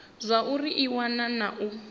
zwauri i wana na u